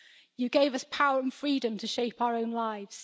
You gave us power and freedom to shape our own lives.